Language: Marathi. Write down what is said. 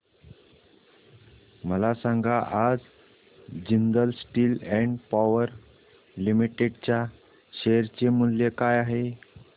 मला सांगा आज Jindal steel and power limited च्या शेअर चे मूल्य काय आहे